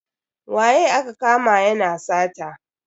Waye aka kama yana sata?